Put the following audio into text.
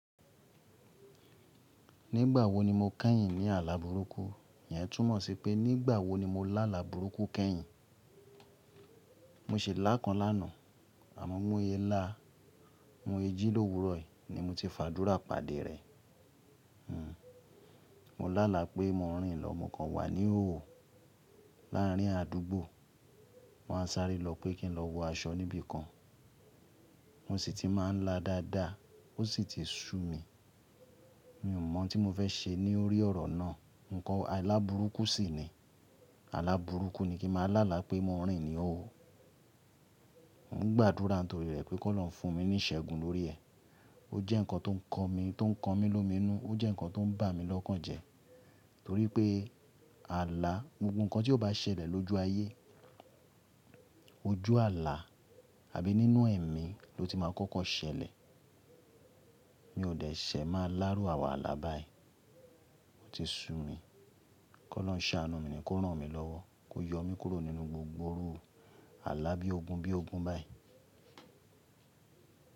Nígbà wo ni mo kẹ́yìn ní àlá burúkú? Iyẹn túmọ̀ sí pé nígbà wo ni mo lá àlá burúkú kẹ́yìn. Mo si lá kan lánàá, àmọ́ mo ye lá, mo ye ji lówurọ̀ yii, ni mo ti fàdúrà pàdé rẹ̀. Hmm, mo lála pé mo rìn lọ, ọmọ kan wà ní ihoho láàrín àdúgbò. Mo wa n sáré lọ pé kín lọ wọ aṣọ níbi kan. Mo sì ti máa ń lá dáadáa, ó sì ti ṣú mi. Mi ò mọ̀ tí mo fẹ́ ṣe ní orí ọ̀rọ̀ náà. Ǹkan àlá burúkú sì ni, àlá burúkú ni kín máa lála pé mo rìn ní ihóho. Mo gba àdúrà torí rẹ̀ pé kó lọ fún mi ní ìṣẹ́gun lórí ẹ. Ó jẹ́ nǹkan tó ń kan mi, tó ń kan mi lomi inú, ó jẹ́ nǹkan tó ń bà mí lọ́kàn jẹ torí pé àlá, gbogbo nǹkan tí ó bá ṣẹlẹ̀ lójú ayé, ojú àlá àbí nínú ẹ̀mí ló ti máa kọ́kọ́ ṣẹlẹ̀. Mi ò dẹ̀ ṣẹ̀ máa lá iru àwon àlá báyìí. O ti sú mi, kó olorun sàánù mi ni kó rán mi lọ́wọ́, kó yọ mi kúrò nínú gbogbo irú àlá bí ogun bí ogun báyìí.